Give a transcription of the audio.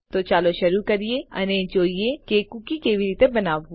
તો ચાલો શરૂ કરીએ અને જોઈએ કે કુકી કેવી રીતે બનાવવું